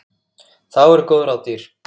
Þá eru góð ráð dýr.